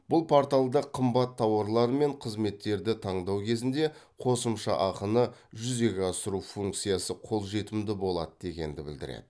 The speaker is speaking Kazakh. бұл порталда қымбат тауарлар мен қызметтерді таңдау кезінде қосымша ақыны жүзеге асыру функциясы қолжетімді болады дегенді білдіреді